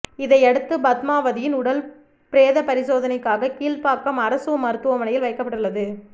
இதனையடுத்து பத்மாவதியின் உடல் பிரேத பரிசோதனைக்காக கீழ்ப்பாக்கம் அரசு மருத்துவமனையில் வைக்கப்பட்டுள்ளது